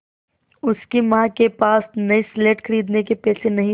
उसकी माँ के पास नई स्लेट खरीदने के पैसे नहीं थे